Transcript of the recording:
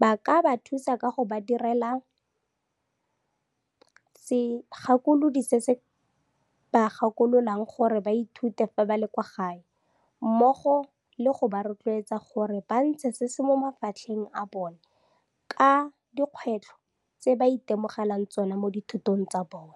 ba ka ba thusa ka go ba direla segakolodi se se ba gakololang gore ba ithute fa ba le kwa gae, mmogo le go ba rotloetsa gore ba ntshe se se mo mafatlheng a bona ka dikgwetlho tse ba itemogelang tsona mo dithutong tsa bona.